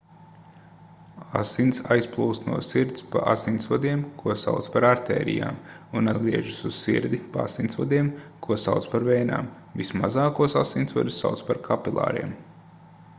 asins aizplūst no sirds pa asinsvadiem ko sauc par artērijām un atgriežas uz sirdi pa asinsvadiem ko sauc par vēnām vismazākos asinsvadus sauc par kapilāriem